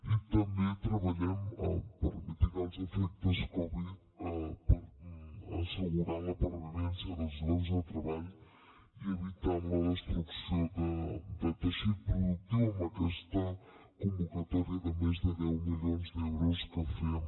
i també treballem per mitigar els efectes covid assegurant la pervivència dels llocs de treball i evitant la destrucció de teixit productiu amb aquesta convocatòria de més de deu milions d’euros que fem